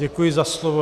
Děkuji za slovo.